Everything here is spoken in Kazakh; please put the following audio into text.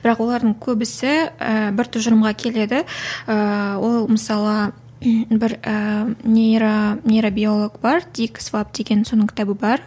бірақ олардың көбісі і бір тұжырымға келеді ііі ол мысалы бір ііі нейро нейробиолог бар дикс баб деген соның кітабі бар